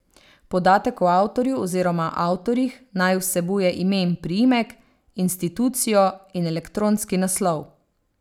Podatek o avtorju oziroma avtorjih naj vsebuje ime in priimek, institucijo in elektronski naslov.